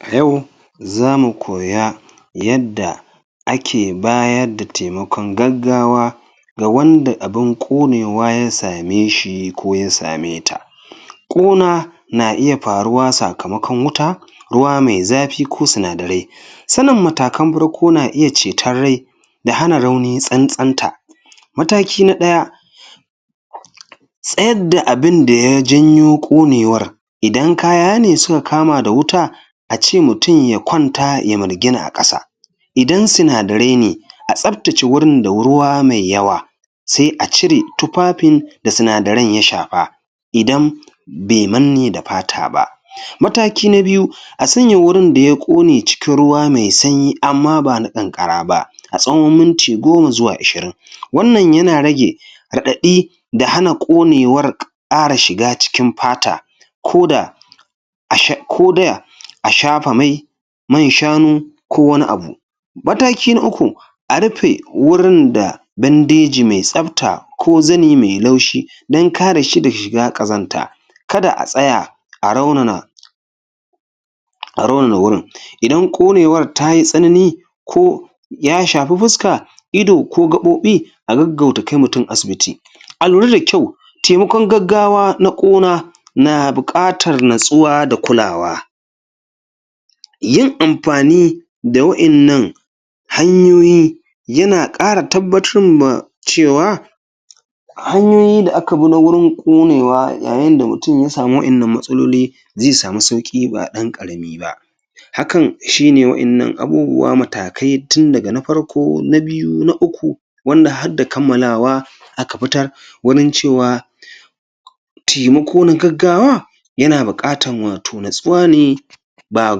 A yau zamu koya yadda ake bayar da taimakon gaggawa ga wanda abun ƙonewa ya same shi ko ya sameta ƙona na iya faruwa sakamakon wuta ruwa mai zafi ko sinadari sanin matakan farko na iya ceton rai da hana aruni tsantsanta. Mataki na ɗaya tsayar da abin da ya janyo ƙonewar idan kaya ne suka kama da wuta a ce mutum ya kwanta ya mirgina a ƙasa idan sinadarai ne a tasabtace gurin da ruwa mai yawa sai a cire tufafin da sinadaran ya shafa idan bai manne da fata ba. Mataki na biyu a sanya wurin da ya ƙone cikin ruwa mai sanyi amma ba na ƙanƙara ba, a tsawon minti goma ko ashirin wannan yana rage raɗaɗi da hana ƙonewar ƙara shiga cikin fata ko da asha ko da ashafa mai man shanu ko wani abu mataki na uku a rufe wurin da bandeji mai tsabta ko zani mai laushi don kar shi daga shiga ƙazanta kada a tsaya a raunana a raunanan wurin idan ƙonewar ta yi tsanani ko ya shafi fuska ido ko gaɓoɓi a gaggauta kai mutum asibiti alura da kyau taimakon gaggawa na ƙuna na buƙatar kulawa yin amfni da wa'innan hanyoyi yna ƙara tabbatar ma cewa hanyoyin da aka bi na wurin ƙonewa ya yin da mutum ya samu da wa'innan matsaloli zai samu sauƙi ba ɗan ƙarami ba hakan shine wa'innan abubuwa matakai tun daga na ɗaya na biyu har zuwa na uku wanda hadda kammalawa aka fitar wajen cewa taimako na gaggawa yana buƙatan wato natsuwa ne ba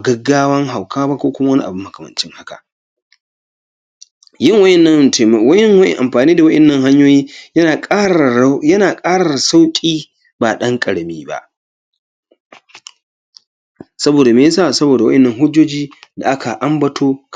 gaggawan hauka ba ko wani abu makamancin haka yawayawan amfani da wa'innan hanyoyi yana ƙararara yana ƙara sauƙi ba ɗan ƙarami ba saboda me yasa saboda wa'innan hujjoji da aka ambato kamar haka